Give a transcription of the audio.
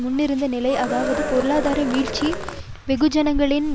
முன்னிருந்த நிலைஅதாவது பொருளாதார வீழ்ச்சி வெகுஜனங்களின்